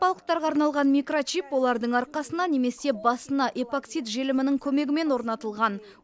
итбалықтарға арналған микрочип олардың арқасына немесе басына эпоксид желімінің көмегімен орнатылған